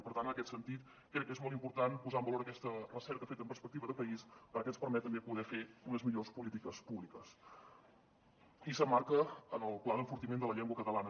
i per tant en aquest sentit crec que és molt important posar en valor aquesta recerca feta amb perspectiva de país perquè ens permet també poder fer unes millors polítiques públiques i s’emmarca en el pla d’enfortiment de la llengua catalana